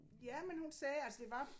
Jamen hun sagde altså det var